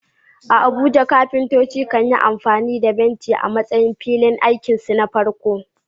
A Abuja, kafintoci kan yi amfani da benci a matsayin filin aikinsu na farko.